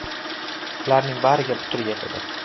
Ularning bariga putur yetadi.